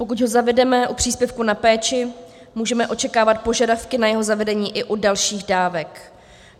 Pokud ho zavedeme u příspěvku na péči, můžeme očekávat požadavky na jeho zavedení i u dalších dávek.